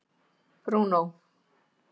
Bruno